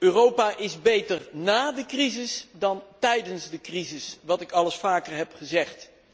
Europa is beter ná de crisis dan tijdens de crisis, wat ik al eens vaker heb gezegd.